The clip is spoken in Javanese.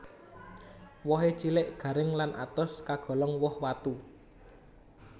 Wohé cilik garing lan atos kagolong woh watu